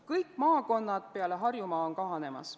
Kõik maakonnad peale Harjumaa on kahanemas.